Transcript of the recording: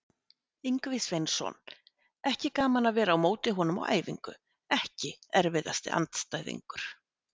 Ingvi Sveinsson, ekki gaman að vera á móti honum á æfingu EKKI erfiðasti andstæðingur?